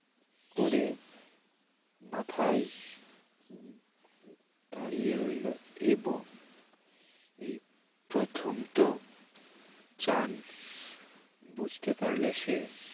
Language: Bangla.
উপরে মাথায় দাঁড়িয়ে রইল এবং এই প্রথম তো চান বুঝতে পারলে সে